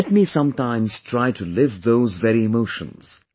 Let me sometimes try to live those very emotions